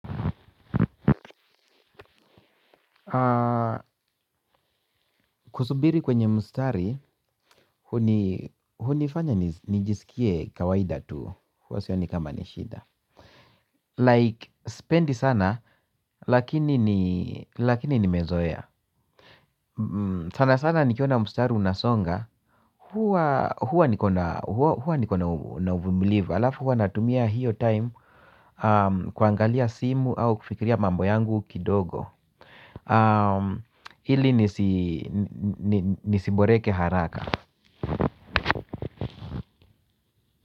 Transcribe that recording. Kusubiri kwenye mstari hunifanya nijisikie kawaida tu, huwa sioni kama ni shida Like, sipendi sana, lakini nimezoea sana sana nikiona mstari unasonga, huwa huwa niko na uvumilivu halafu huwa natumia hiyo time kuangalia simu au kufikiria mambo yangu kidogo ili nisiboreke haraka.